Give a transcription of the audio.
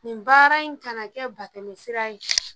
Nin baara in kana kɛ batɛmɛsira ye.